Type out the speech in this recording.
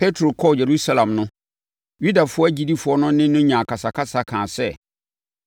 Petro kɔɔ Yerusalem no, Yudafoɔ agyidifoɔ no ne no nyaa akasakasa kaa sɛ,